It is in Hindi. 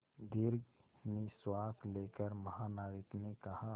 दीर्घ निश्वास लेकर महानाविक ने कहा